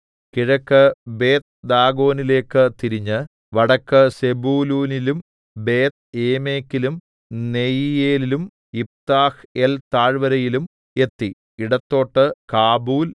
കിഴക്ക് ബേത്ത്ദാഗോനിലേക്കു തിരിഞ്ഞ് വടക്ക് സെബൂലൂനിലും ബേത്ത്ഏമെക്കിലും നെയീയേലിലും യിഫ്താഹ്ഏൽ താഴ്‌വരയിലും എത്തി ഇടത്തോട്ട് കാബൂൽ